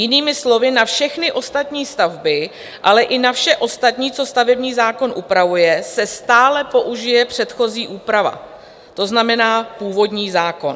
Jinými slovy, na všechny ostatní stavby, ale i na vše ostatní, co stavební zákon upravuje, se stále použije předchozí úprava, to znamená původní zákon.